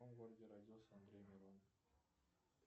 в каком городе родился андрей миронов